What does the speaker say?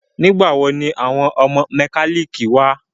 Nígbàwo ni àwọn mọ́kálíkì wá?